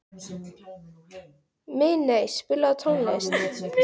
Minney, spilaðu tónlist.